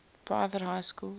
private high schools